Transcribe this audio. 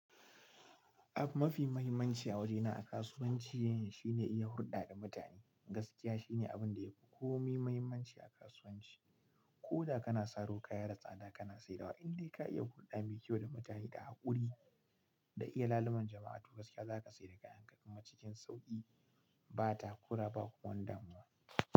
Abu mafi muhimmanci a waje na a kasuwanci shine iyi hurɗa da mutane. Gaskiya shine abin da yafi komai muhimmanci a kasuwanci. Koda kana saro kaya da tsada kana saidawa, in dai ka iya hurɗa mai kyau da mutane da haƙuri da iya laluman jama'a to gaskiya zaka sayar da kayan kuma a cikin sauki ba takura ba kuma damuwa.